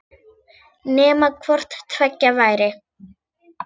Nema hvort tveggja væri.